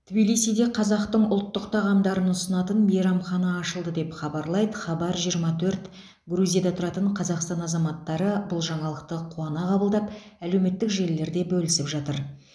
тбилисиде қазақтың ұлттық тағамдарын ұсынатын мейрамхана ашылды деп хабарлайды хабар жиырма төрт грузияда тұратын қазақстан азаматтары бұл жаңалықты қуана қабылдап әлеуметтік желілерде бөлісіп жатыр